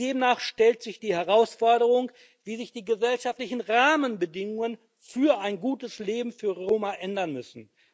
Demnach stellt sich die Herausforderung, wie sich die gesellschaftlichen Rahmenbedingungen für ein gutes Leben für Roma ändern müssen.